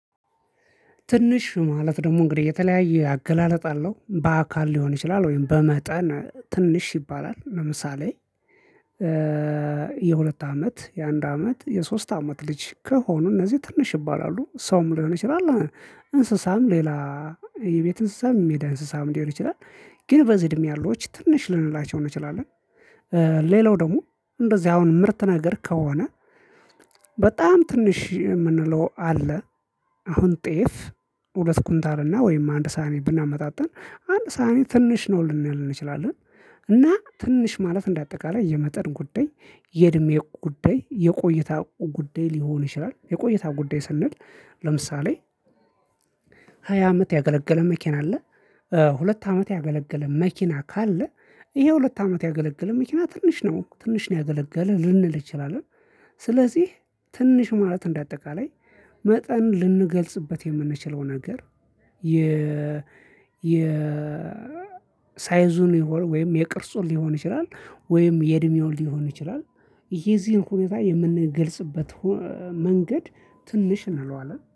ትንሽ ማለት ደግሞ እንግዲህ የተለያየ አገላለጥ አለሁ በአካል ሊሆን ይችላል ወይም በመጠን ትንሽ ይባላል። ለምሳሌ የሁለት አመት የአንድ አመት የሶስት አመት ልጅ ከሆኑ እነዚህ ትንሽ ይባላሉ ሰውም ሊሆን ይችላል። እንስሳም ሌላ የቤት እንስሳም የሜዳ እንስሳም ሊሆን ይችላል። ግን በዚህ እድሜ ያሉት ትንሽ ልንላቸው እንችላለን። ሌላው ደግሞ እንደዚህ አሁን ምርት ነገር ከሆነ በጣም ትንሽ የምንለው አለ። አሁን ጤፍ ሁለት ኩንታልና ወይም አንድ ሳህኒ ብናመጣጥን አንድ ሳህኒ ትንሽ ነው ልንል እንችላለን። እና ትንሽ ማለት እንደ አጠቃላይ የመጠን ጉዳይ የእድሜ ጉዳይ የቆይታ ጉዳይ ሊሆን ይችላል የቆይታ ጉዳይ ስንል ለምሳሌ ሃያ አመት ያገለገለ መኪና አለ። ሁለት አመት ያገለገለ መኪና ካለ ይሄ ሁለት አመት ያገለገለ መኪና ትንሽ ነው ትንሽ ነው ያገለገለ ልንል እንችላለን። ስለዚህ ትንሽ ማለት እንደ አጠቃላይ መጠን ልንገልጽበት የምንችለው ነገር የ የ ሳይዙን የሆነ ወይም የቅርጹን ሊሆን ይችላል። ወይም የእድሜውን ሊሆን ይችላል። ይሄ የዚህን ሁኔታ የምንገልጽበት መንገድ ትንሽ እንለዋለን